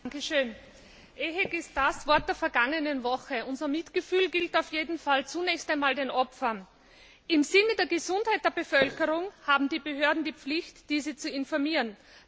Herr Präsident! EHEC ist das Wort der vergangenen Woche. Unser Mitgefühl gilt auf jeden Fall zunächst einmal den Opfern. Im Sinne der Gesundheit der Bevölkerung haben die Behörden die Pflicht, diese zu informieren.